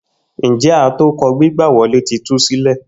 Njẹ atokọ gbigba wọle ti tu silẹ?